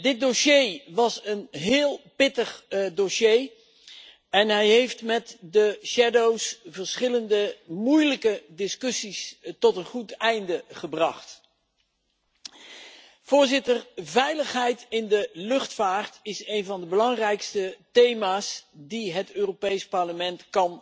Dit was een heel pittig dossier en hij heeft met de schaduwrapporteurs verschillende moeilijke discussies tot een goed einde gebracht. Veiligheid in de luchtvaart is een van de belangrijkste thema's die het Europees Parlement